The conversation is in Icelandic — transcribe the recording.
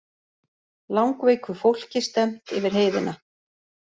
Langveiku fólki stefnt yfir heiðina